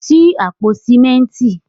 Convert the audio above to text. Ṣí àpò sìmẹ́ntì.